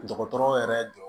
Dɔgɔtɔrɔ yɛrɛ jɔ